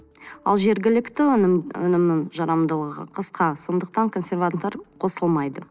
ал жергілікті өнімнің жарамдылығы қысқа сондықтан консерванттар қосылмайды